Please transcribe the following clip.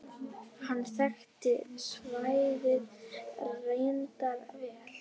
Hann þekkti svæðið reyndar vel.